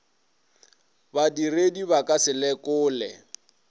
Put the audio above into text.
badiredi ba ka se lekole